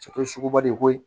suguba de ko ye